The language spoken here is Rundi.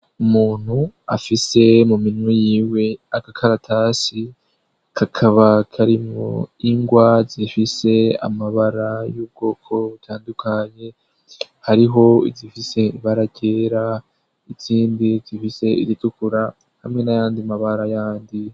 Umuntu afise mu minwe y'iwe akakaratasi, kakaba karimwo ingwa zifise amabara y'ubwoko butandukanye hariho izifise ibara ryera, izndi zifise iritukura, hamwe n'ayandi mabara yandi.